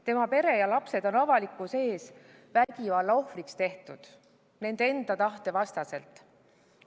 Tema pere ja lapsed on avalikkuse ees vägivallaohvriks tehtud nende enda tahte vastaselt.